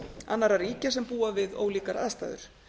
annarra ríkja sem búa við ólíkar aðstæður